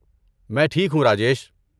میں ٹھیک ہوں، راجیش۔